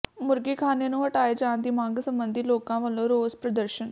ਮੁਰਗੀਖਾਨੇ ਨੂੰ ਹਟਾਏ ਜਾਣ ਦੀ ਮੰਗ ਸਬੰਧੀ ਲੋਕਾਂ ਵਲੋਂ ਰੋਸ ਪ੍ਰਦਰਸ਼ਨ